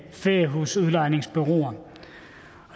feriehusudlejningsbureauer